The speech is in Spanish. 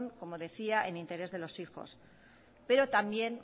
como decía en interés de los hijos pero también